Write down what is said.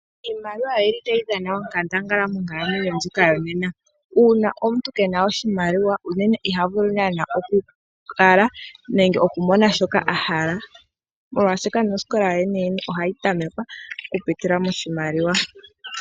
Iimaliwa oyi li tayi dhana onkandangala monkalamwenyo ndjika yo nena, uuna omuntu kena oshimaliwa unene iha vulu naana oku kala nenge oku mona shoka ahala, molwashoka nosikola yo yene yene oha yi tamekwa oku pitila moshimaliwa.